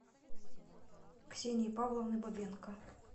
ксении павловны бабенко